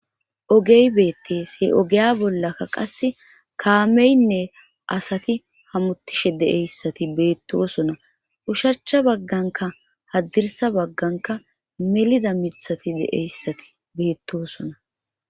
Oge beetees. ha ogiya bollakka qass kaamenne asati hamutishe de'yayssat beetosona ushachcha bagankka hadirssa bagankka melida miththati de'yassati beetosona.